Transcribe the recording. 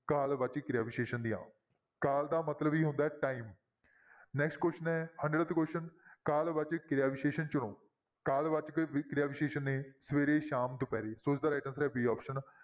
ਕਾਲ ਵਾਚਕ ਕਿਰਿਆ ਵਿਸ਼ੇਸ਼ਣ ਦੀਆਂ ਕਾਲ ਦਾ ਮਤਲਬ ਹੀ ਹੁੰਦਾ ਹੈ time next question ਹੈ Hundredth question ਕਾਲ ਵਾਚਕ ਕਿਰਿਆ ਵਿਸ਼ੇਸ਼ਣ ਚੁਣੋ, ਕਾਲ ਵਾਚਕ ਕਿਰਿਆ ਵਿਸ਼ੇਸ਼ਣ ਨੇ ਸਵੇਰੇ, ਸ਼ਾਮ, ਦੁਪਿਹਰੇ ਸੋ ਇਸਦਾ right answer ਹੈ b option